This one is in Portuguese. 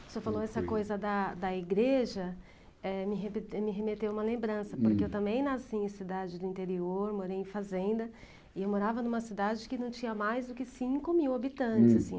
O senhor falou essa coisa da da igreja, eh, me reme me remeteu uma lembrança, porque eu também nasci em cidade do interior, morei em fazenda, e eu morava numa cidade que não tinha mais do que cinco mil habitantes. Hm.